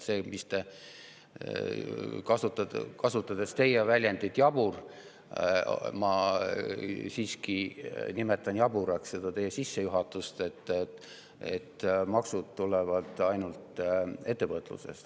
Te kasutasite väljendit "jabur", ma nimetaksin jaburaks seda teie sissejuhatust, et maksud tulevad ainult ettevõtlusest.